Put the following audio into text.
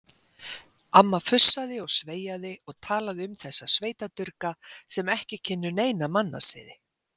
Amma fussaði og sveiaði og talaði um þessa sveitadurga sem ekki kynnu neina mannasiði.